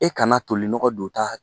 I kana tolinɔgɔ donta